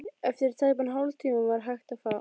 Eftir tæpan hálftíma var hægt á.